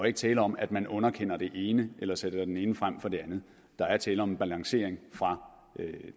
ikke tale om at man underkender det ene eller sætter det ene frem for det andet der er tale om en balancering fra